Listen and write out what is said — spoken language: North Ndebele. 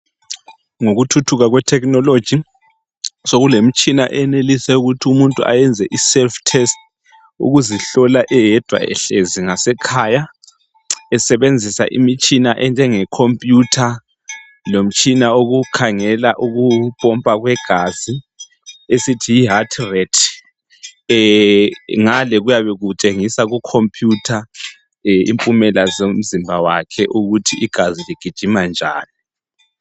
Ngokuthuthuka kwe technology sokulemitshina eyenelisa ukuthi umuntu azeyenze I self test ukuzihlola eyedwa ehlezi ngasekhaya esebenzisa imitshina enjenge computer lomtshina wokukhangela ukumpompa kwegazi esithi yi heart rate. Ngale kuyabe kutshengisa ku computer impumela zomzimba wakhe ukuthi igazi ligijima njani